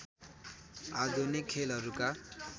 आधुनिक खेलहरूका